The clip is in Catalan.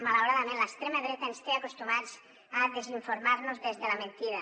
malauradament l’extrema dreta ens té acostumats a desinformar nos des de la mentida